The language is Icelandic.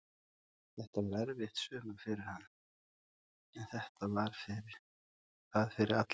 Þetta var erfitt sumar fyrir hann, en þetta var það fyrir alla.